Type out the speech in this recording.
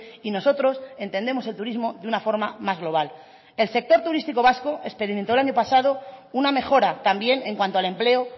y nosotros entendemos el turismo de una forma más global el sector turísticos vasco experimentó el año pasado una mejora también en cuanto al empleo